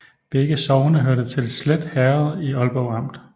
Begge sogne hørte til Slet Herred i Aalborg Amt